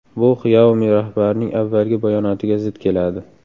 Bu Xiaomi rahbarining avvalgi bayonotiga zid keladi.